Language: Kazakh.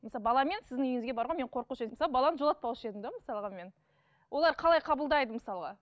мысалы баламен сіздің үйіңізге баруға мен қорқушы едім мысалы баламды жолатпаушы едім де мысалға мен олар қалай қабылдайды мысалға